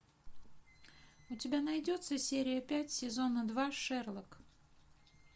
у тебя найдется серия пять сезона два шерлок